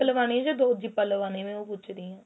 ਲਗਵਾਣੀ ਏ ਜਾਂ ਦੋ ਜੀਪਾ ਲਵਾਣੀ ਏ ਮੈਂ ਉਹ ਪੁੱਛ ਰਹੀ ਆ